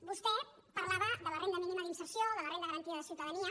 vostè parlava de la renda mínima d’inserció de la renda garantida de ciutadania